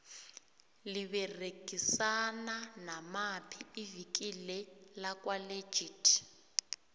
liberegisana namaphi ivikile lakwa legit